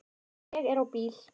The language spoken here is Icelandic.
Ég er á bíl